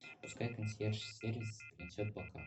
пускай консьерж сервис принесет бокал